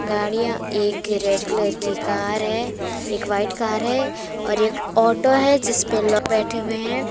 गाड़िया एक red colour की कार है एक वाइट कार है और एक ऑटो है जिसपे लोग बैठे हुए हैं।